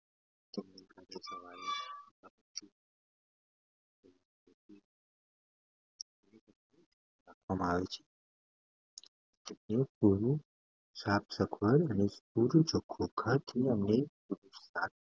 કરવામા આવે છે પુરુષ